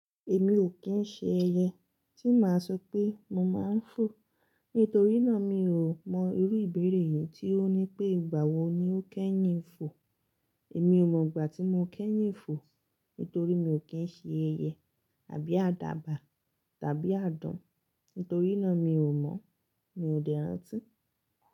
Èmi o kín ṣe ẹyẹ, tí máa sọ pé mo máa ń fò. Nítorí náà mi ò mọ irú ìbéèrè yìí tí ó ní pé ìgbà wo ni o kẹ́yìn ń fò. Èmi ò mọ ìgbà tí mo kẹ́yìn ń fò, nítorí mi o kín ṣe ẹyẹ àbí àdàbà tàbí àdán. Nítorí náà mi ò mọ̀, mi ò dè rántí.